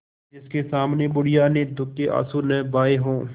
जिसके सामने बुढ़िया ने दुःख के आँसू न बहाये हां